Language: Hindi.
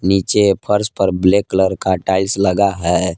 नीचे फर्श पर ब्लैक कलर का टाइल्स लगा है।